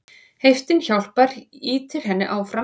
Heiftin hjálpar, ýtir henni áfram.